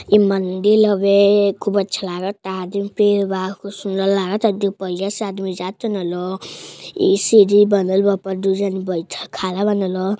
इ मंदिल हवे खूब अच्छा लागता आदमी पेड़ बा खूब सुंदर लागता। दू पहिया से आदमी जा तन लोग इ सीढ़ी बनल बा ऊपर दू जाने बइठल खड़ा बान लोग।